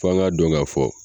Fɔ an k'a don k'a fɔ.